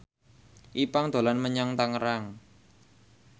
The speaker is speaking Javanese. Ipank dolan menyang Tangerang